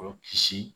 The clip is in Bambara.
Olu kisi